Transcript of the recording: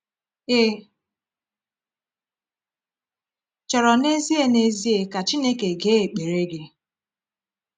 Ị chọrọ n’ezie n’ezie ka Chineke gee ekpere gị?